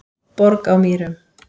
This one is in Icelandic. Borg á Mýrum